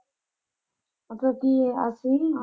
ਉਹ ਕਹੂਗੀ ਇਹ ਅਸੀਂ ਈ .